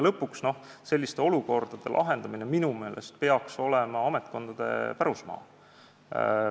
Lõpuks peaks selliste olukordade lahendamine minu meelest olema ametkondade pärusmaa.